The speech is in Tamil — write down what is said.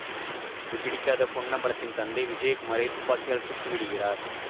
இது பிடிக்காத பொன்னம்பலத்தின் தந்தை விஜயகுமாரை துப்பாக்கியால் சுட்டு விடுகிறார்